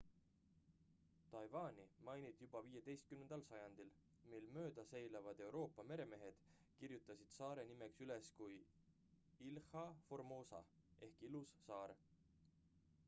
taiwani mainiti juba 15 sajandil mil mööda seilavad euroopa meremehed kirjutasid saare nime üles kui ilha formosa ehk ilus saar